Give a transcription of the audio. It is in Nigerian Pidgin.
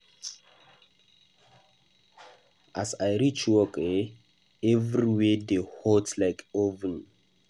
As I reach work eh, everywhere dey hot like oven.